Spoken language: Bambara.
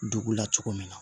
Dugu la cogo min na